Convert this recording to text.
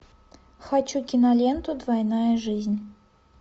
хочу киноленту двойная жизнь